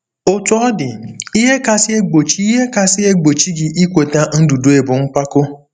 Otú ọ dị, ihe kasị egbochi ihe kasị egbochi gị ikweta ndudue bụ mpako.